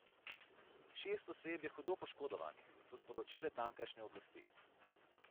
Šest oseb je hudo poškodovanih, so sporočile tamkajšnje oblasti.